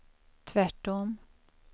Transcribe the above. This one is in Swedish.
tvärtom